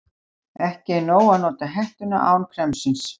Ekki er nóg að nota hettuna án kremsins.